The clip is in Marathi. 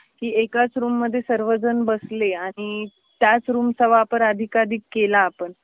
की एकाच रूममध्ये सर्वजण बसले आणि त्याच रूमचा वापर अधिक अधिक केला आपण